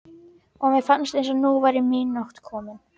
Viltu ekki fá þér kartöflumús og sósu í vasann líka?